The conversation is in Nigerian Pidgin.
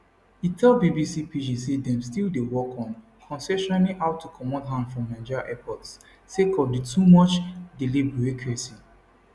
e tell bbc pidgin say dem still dey work on concessioning how to comot hand from nigeria airports sake of di too much delay bureaucracy